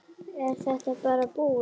Er þetta bara búið?